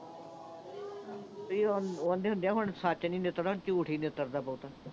ਉਹ ਆਂਦੇ ਹੁੰਦੇ ਆ ਨਾ। ਹੁਣ ਸੱਚ ਨੀਂ ਨਿੱਤਰਦਾ, ਝੂਠ ਹੀ ਨਿੱਤਰਦਾ ਬਹੁਤ।